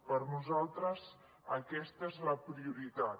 per nosaltres aquesta és la prioritat